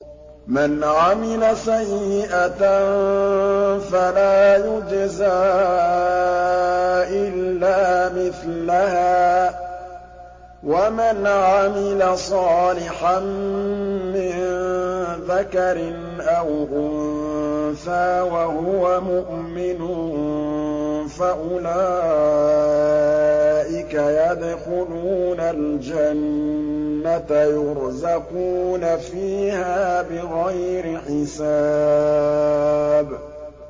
مَنْ عَمِلَ سَيِّئَةً فَلَا يُجْزَىٰ إِلَّا مِثْلَهَا ۖ وَمَنْ عَمِلَ صَالِحًا مِّن ذَكَرٍ أَوْ أُنثَىٰ وَهُوَ مُؤْمِنٌ فَأُولَٰئِكَ يَدْخُلُونَ الْجَنَّةَ يُرْزَقُونَ فِيهَا بِغَيْرِ حِسَابٍ